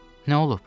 Hə, nə olub?